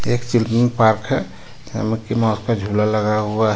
एक पार्क हे का जुला लगा हुआ हे.